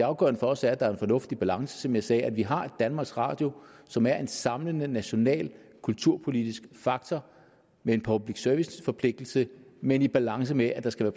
afgørende for os er at der er en fornuftig balance som jeg sagde nemlig at vi har et danmarks radio som er en samlende national kulturpolitisk faktor med en public service forpligtelse men i balance med at der skal